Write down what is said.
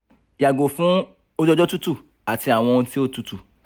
yago fun oju-ọjọ tutu ati awọn ohun ti o tutu